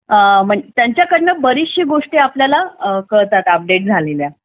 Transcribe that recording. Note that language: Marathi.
त्यांच्याकडनं बऱ्याचशा गोष्टी आपल्याला कळतात अपडेट झालेल्या